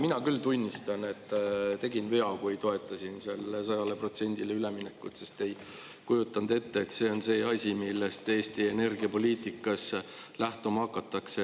Mina küll tunnistan, et tegin vea, kui toetasin selle 100%-le üleminekut, sest ei kujutanud ette, et see on see asi, millest Eesti energiapoliitikas lähtuma hakatakse.